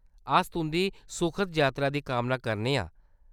अस तुंʼदी सुखद जातरा दी कामना करने आं।